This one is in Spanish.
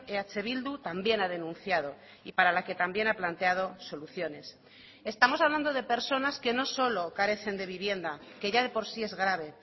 eh bildu también ha denunciado y para la que también ha planteado soluciones estamos hablando de personas que no solo carecen de vivienda que ya de por sí es grave